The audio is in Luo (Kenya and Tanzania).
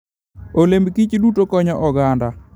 Olemb kich duto konyo oganda.